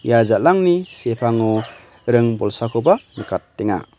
ia jal·angni sepango ring bolsakoba nikatenga.